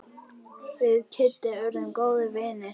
Við Kiddi urðum góðir vinir.